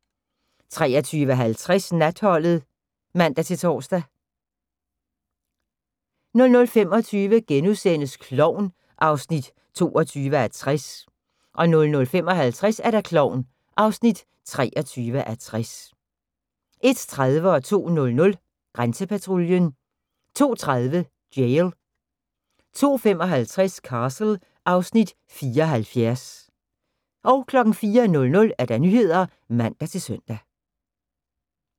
23:50: Natholdet (man-tor) 00:25: Klovn (22:60)* 00:55: Klovn (23:60) 01:30: Grænsepatruljen 02:00: Grænsepatruljen 02:30: Jail 02:55: Castle (Afs. 74) 04:00: Nyhederne (man-søn)